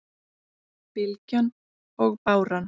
Bylgjan og báran